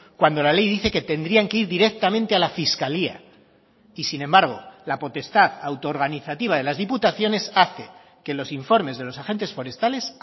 cuando la ley dice que tendrían que ir directamente a la fiscalía y sin embargo la potestad autoorganizativa de las diputaciones hace que los informes de los agentes forestales